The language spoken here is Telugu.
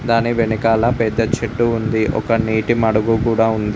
దాని వెనకాల పెద్ద చెట్టు ఉంది ఒక నీటిమడుగు కూడా ఉంది.